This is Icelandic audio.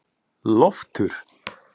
Loftur